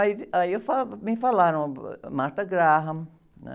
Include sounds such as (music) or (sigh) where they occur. Aí, aí eu, (unintelligible) me falaram ãh, (unintelligible) né?